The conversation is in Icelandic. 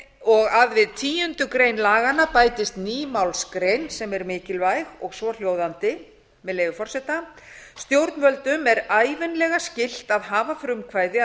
og að við tíundu grein laganna bætist ný málsgrein sem er mikilvæg og svohljóðandi með leyfi forseta stjórnvöldum er ævinlega skylt að hafa frumkvæði að